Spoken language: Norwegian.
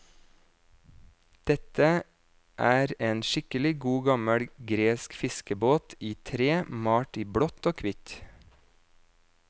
Dette er en skikkelig god gammel gresk fiskebåt i tre, malt i blått og kvitt.